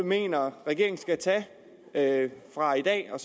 mener regeringen skal tage fra i dag og